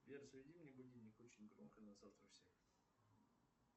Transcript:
сбер заведи мне будильник очень громко на завтра в семь